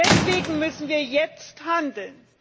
Deswegen müssen wir jetzt handeln!